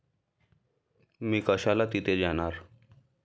मी कशाला तिथे जाणार?